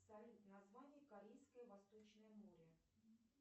салют название корейское восточное море